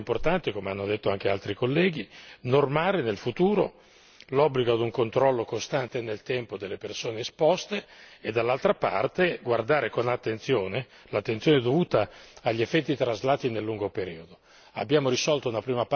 Per questa ragione è molto importante come hanno detto anche altri colleghi disciplinare in futuro l'obbligo di un controllo costante nel tempo delle persone esposte e dall'altra parte guardare con l'attenzione dovuta agli effetti traslati nel lungo periodo.